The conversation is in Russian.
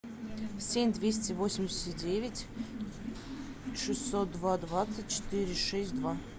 семь двести восемьдесят девять шестьсот два двадцать четыре шесть два